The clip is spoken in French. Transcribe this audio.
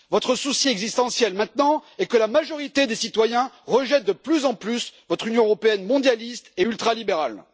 Votre souci existentiel maintenant est que la majorité des citoyens rejette de plus en plus votre Union européenne mondialiste et ultralibérale.